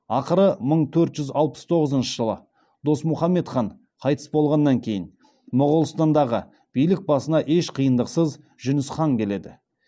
ақыры мың төрт жүз алпыс тоғызыншы жылы досмұхаммед хан қайтыс болғаннан кейін моғолстандағы билік басына еш қиындықсыз жүніс хан келеді